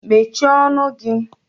Shut up your mouth now!!